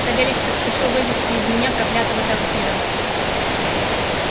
савельич поспешил вывезти из меня из проклятого трактира